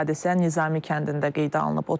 Hadisə Nizami kəndində qeydə alınıb.